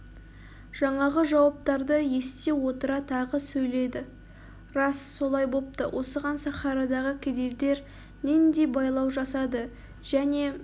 жаңағы жауаптарды ести отыра тағы сөйледі рас солай бопты осыған сахарадағы кедейдер нендей байлау жасады және